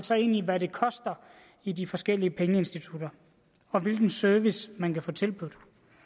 sig ind i hvad det koster i de forskellige pengeinstitutter og hvilken service man kan få tilbudt